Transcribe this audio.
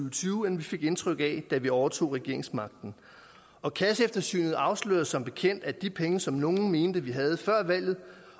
og tyve end vi fik indtryk af da vi overtog regeringsmagten og kasseeftersynet afslørede som bekendt at de penge som nogle mente at vi havde før valget